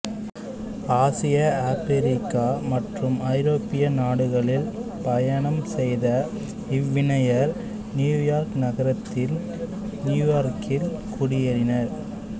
ஆசியாஆபிரிக்கா மற்றும் ஐரோப்பிய நாடுகளில் பயணம் செய்த இவ்விணையர் நியூயார்க் நகரத்தில் நியூயார்க்கில் குடியேறினர்